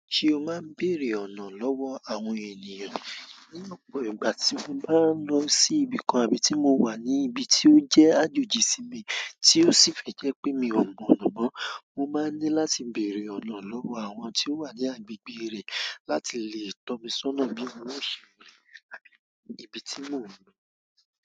Ṣé o máa ń bèrè ọ̀nà lọ́wọ́ àwọn ènìyàn? Ni ọ̀pọ̀ ìgbà tí mo bá ń lọ sí ibìkan àbí tí mo wà ní ibi tí ó jẹ́ àjòjì sí mi, tí ó sì fi jẹ́ pé mi ò mọ ọ̀nà mọ́, mo máa ní láti bèrè ọ̀nà lọ́wọ́ àwọn tí ó wà ní agbègbè ré láti lè tọ́ mi sọ́nà bí wọn ṣe rìn àbí dé ibi tí mò ń lọ.